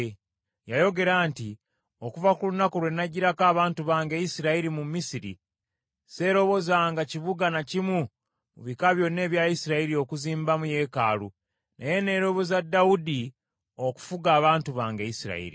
Yayogera nti, ‘Okuva ku lunaku lwe naggyirako abantu bange Isirayiri mu Misiri, seerobozanga kibuga na kimu mu bika byonna ebya Isirayiri okuzimbamu yeekaalu, naye neeroboza Dawudi okufuga abantu bange Isirayiri.’